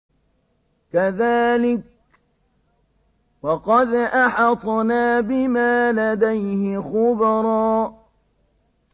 كَذَٰلِكَ وَقَدْ أَحَطْنَا بِمَا لَدَيْهِ خُبْرًا